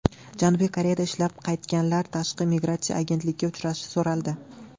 Janubiy Koreyada ishlab qaytganlar Tashqi migratsiya agentligiga uchrashi so‘raldi.